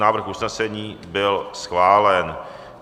Návrh usnesení byl schválen.